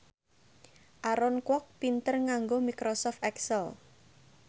Aaron Kwok pinter nganggo microsoft excel